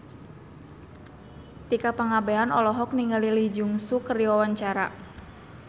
Tika Pangabean olohok ningali Lee Jeong Suk keur diwawancara